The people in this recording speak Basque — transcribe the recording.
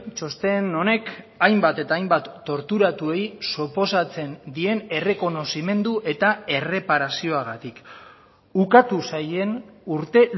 txosten honek hainbat eta hainbat torturatuei suposatzen dien errekonozimendu eta erreparazioagatik ukatu zaien urte